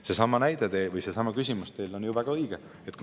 Seesama teie näide või küsimus on ju väga õige.